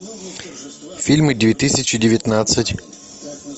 фильмы две тысячи девятнадцать